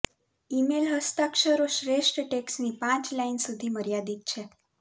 email હસ્તાક્ષરો શ્રેષ્ઠ ટેક્સ્ટની પાંચ લાઇન સુધી મર્યાદિત છે